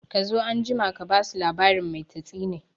Kazo anjima ka basu labarin mai tatsine